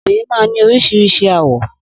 Obìrin man ní orísirísi àwọ̀